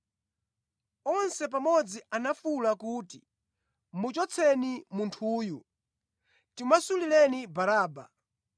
Onse pamodzi anafuwula kuti, “Muchotseni munthuyu! Timasulireni Baraba!”